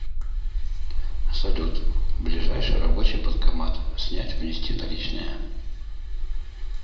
салют ближайший рабочий банкомат снять внести наличные